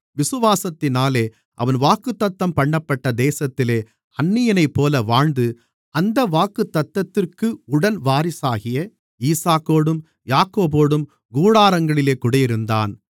விசுவாசத்தினாலே அவன் வாக்குத்தத்தம்பண்ணப்பட்ட தேசத்திலே அந்நியனைப்போல வாழ்ந்து அந்த வாக்குத்தத்தத்திற்கு உடன் வாரிசாகிய ஈசாக்கோடும் யாக்கோபோடும் கூடாரங்களிலே குடியிருந்தான்